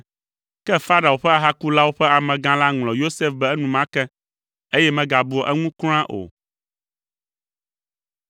Ke Farao ƒe ahakulawo ƒe amegã la ŋlɔ Yosef be enumake, eye megabua eŋu kura o.